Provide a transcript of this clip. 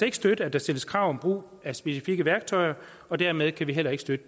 ikke støtte at der stilles krav om brug af specifikke værktøjer og dermed kan vi heller ikke støtte